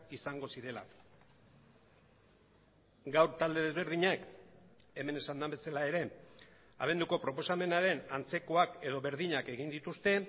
izango zirela gaur talde desberdinek hemen esan den bezala ere abenduko proposamenaren antzekoak edo berdinak egin dituzte